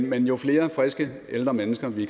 men jo flere friske ældre mennesker vi